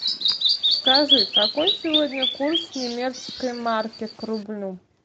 скажи какой сегодня курс немецкой марки к рублю